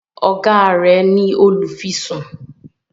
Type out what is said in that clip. oga rẹ ní olufisun.